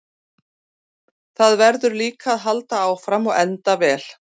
Það verður líka að halda áfram og enda vel.